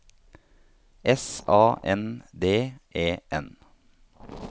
S A N D E N